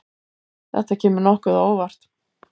Þetta kemur nokkuð á óvart.